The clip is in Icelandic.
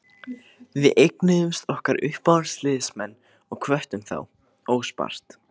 Við eignuðumst okkar uppáhaldsliðsmenn og hvöttum þá óspart.